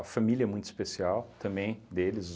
família é muito especial também deles.